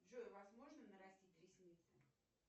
джой возможно нарастить ресницы